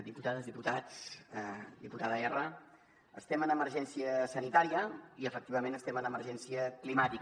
diputades diputats diputada erra estem en emergència sanitària i efectivament estem en emergència climàtica